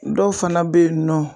Dɔw fana bɛ yen nɔ.